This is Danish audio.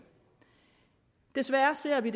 desværre ser vi